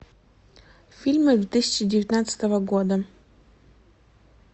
фильмы две тысячи девятнадцатого года